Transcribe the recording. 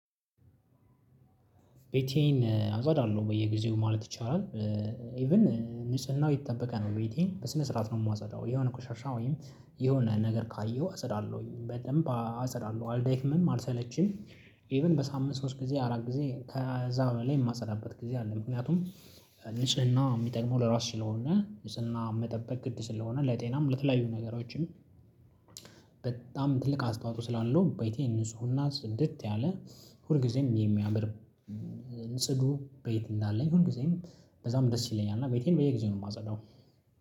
ቤቴን አጸዳለሁ በየጊዜው ማለት ይቻላል። ኢቭን ንጽናው የተጠበቀ ነው ቤቲንግ በስነ ስርዓት ነው የፀዳው የሆነ ቆሻሻ ወይም የሆነ ነገር ካየሁ አጸዳለሁኝ በደንብ አጸዳለሁ አልደክምም አልሰለችም። ኢቭን በሳምንት ሶስት ጊዜ አራት ጊዜ ከዛ በበላይ የማጸዳበት ጊዜ አለ። ምክንያቱም ንጽህና የሚጠይመው ለራስ ስለሆነ ልጽህና መጠበቅ ቅድ ስለሆነ ለጤናም ለተለያዩ ነገሮችም። በጣም ትልቅ አስተዋጽኦ ስላለው በቴ ንጹህ ሁና ጽድት ያለ ሁል ጊዜም የሚያምር። ጽዱ ቤት እንዳለኝ ጊዜም በዛም ደስ ይለኛል እና ቤቴን በየጊዜው ነው የማጸዳው።